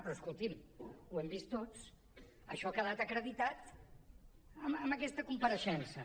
però escolti’m ho hem vist tots això ha quedat acreditat amb aquesta compareixença